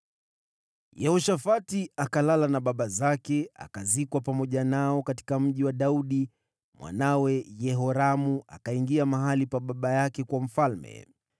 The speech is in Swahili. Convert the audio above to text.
Yehoshafati akalala na baba zake, akazikwa pamoja nao katika Mji wa Daudi. Mwanawe Yehoramu akawa mfalme baada yake.